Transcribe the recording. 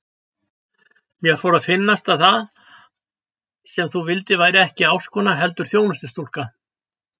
Mér fór að finnast að það sem þú vildir væri ekki ástkona heldur þjónustustúlka.